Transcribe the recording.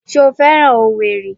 Ṣé o féràn owerri?